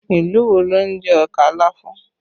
Ìlú wo ló ń jẹ ọkà láfún?